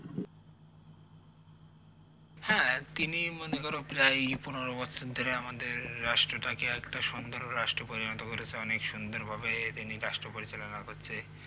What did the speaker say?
হ্যা তিনি মনে করো প্রায় এই পনেরো বছর ধরে আমাদের রাষ্ট্র টা কে একটা সুন্দর রাষ্ট্র পরিণত করেছে অনেক সুন্দরভাবেই তিনি রাষ্ট্র পরিচালনা করছে